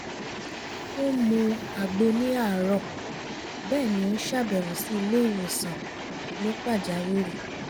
ó ń mu àgbo ní àárọ̀ bẹ́ẹ̀ ni ó ń ṣàbẹ̀wò sí ilé ìwòsàn ní pàjáwìrì